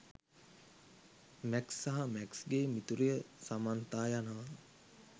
Max සහ මැක්ස්ගේ මිතුරිය සමන්තා යනවා.